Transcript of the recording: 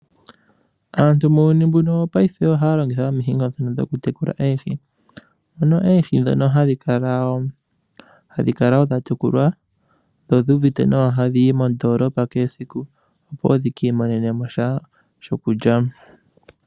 Aantu muuyuni mbuno wongaashingeyi, oha ya longitha omihingo dhokutekula oohi. Oohi ndhoka hadhi kala dha tekulwa, dhi uvite nawa hadhi yi mondoolopa kehe esiku, opo dhi ki imonene mo sha shokulya.